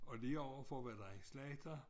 Og lige overfor var der en slagter